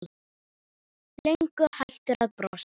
Löngu hættur að brosa.